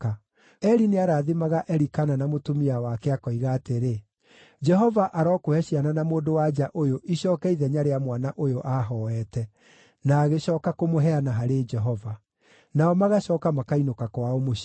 Eli nĩarathimaga Elikana na mũtumia wake, akoiga atĩrĩ, “Jehova arokũhe ciana na mũndũ-wa-nja ũyũ icooke ithenya rĩa mwana ũyũ aahooete, na agĩcooka kũmũheana harĩ Jehova.” Nao magacooka makainũka kwao mũciĩ.